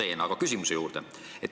Nüüd aga küsimuse juurde.